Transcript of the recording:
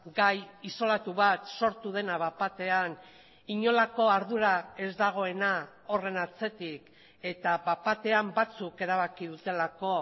gai isolatu bat sortu dena bat batean inolako ardura ez dagoena horren atzetik eta bat batean batzuk erabaki dutelako